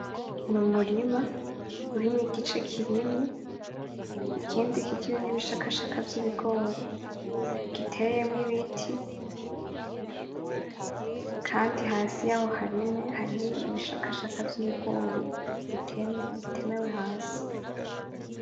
N'umurima urimwo igice kirimye, ikindi kikirimwo ibishakashaka vy'ibigori, giteyemwo ibiti, kandi hasi yaho hariho ibishashaka vy'ibigori bitememye, bitemewe hasi.